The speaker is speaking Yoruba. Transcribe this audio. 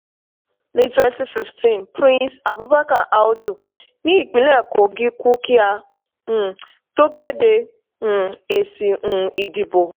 ní twenty fifteen prince abubakar audu ni ìpínlẹ̀ kogi kú kí a um tó kéde um èsì um ìdìbò.